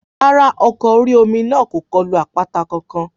Rárá, ọkọ̀ orí-omi náà kò kulo àpáta kankan